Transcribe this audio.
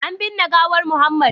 an binne gawar Muhammad